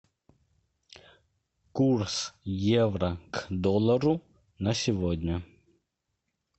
курс евро к доллару на сегодня